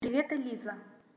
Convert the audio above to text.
привет элиза